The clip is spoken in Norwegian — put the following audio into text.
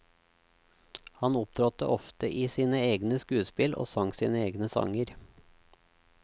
Han opptrådte ofte i sine egne skuespill og sang sine egne sanger.